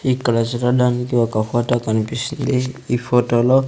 ఇక్కడ చూడడానికి ఒక ఫోటో కనిపిస్తుంది ఈ ఫోటోలో .